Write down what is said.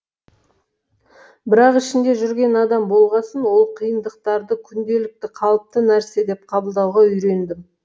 бірақ ішінде жүрген адам болғасын ол қиындықтарды күнделікті қалыпты нәрсе деп қабылдауға үйрендім